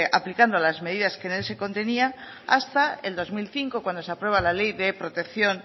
aplicando las medidas que en él se contenía hasta el dos mil cinco cuando se aprueba la ley